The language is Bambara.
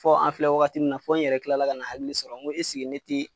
Fɔ an filɛ wagati min na, fɔ n yɛrɛ kilala ka na hakili sɔrɔ ko ne te